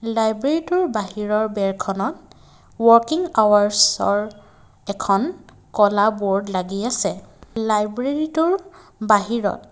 লাইব্ৰেৰীটোৰ বাহিৰৰ বেৰখনত ৱৰ্কিং আৱাৰ্চৰ এখন ক'লা ব'ৰ্ড লাগি আছে লাইব্ৰেৰীটোৰ বাহিৰত।